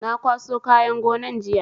Na kwaso kayan gonan jiya